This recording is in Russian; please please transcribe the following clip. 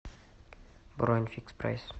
бронь фикс прайс